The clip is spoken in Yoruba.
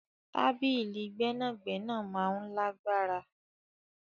Tabili gbẹnagbẹna maa n lagbara